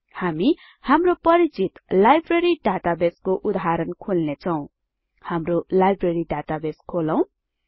हामी हाम्रो परिचित लाइब्रेरी डाटाबेसको उदाहरण खोल्नेछौँ हाम्रो लाइब्रेरी डाटाबेस खोलौं